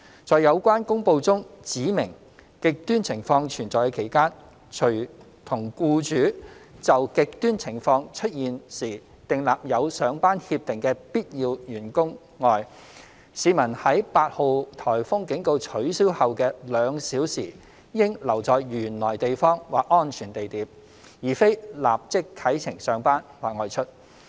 在有關公布中指明"極端情況"存在的期間，除與僱主就"極端情況"出現時訂立有上班協定的必要人員外，市民在8號颱風警告取消後的兩小時應留在原來地方或安全地點，而非立即啟程上班或外出。